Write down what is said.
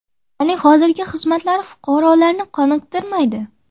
Ularning hozirgi xizmatlari fuqarolarni qoniqtirmaydi.